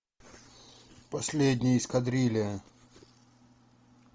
последняя эскадрилья